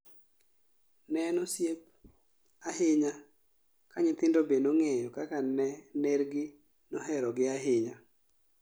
Ne en osiep ahinya ka nyithindo be nong'eyo kaka ner gi mohero gi ahinya